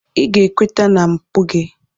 Ị ga-ekweta na mpụ gị!